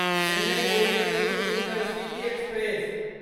Chennai Coimbatore intercity express